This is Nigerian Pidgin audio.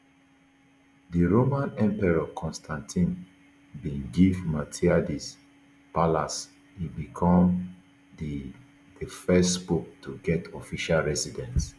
di roman emperor constantine bin give miltiades palace e become di di first pope to get official residence